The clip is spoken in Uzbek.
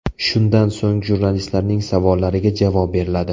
Shundan so‘ng, jurnalistlarning savollariga javob beriladi.